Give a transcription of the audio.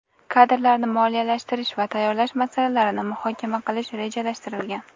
kadrlarni moliyalashtirish va tayyorlash masalalarini muhokama qilish rejalashtirilgan.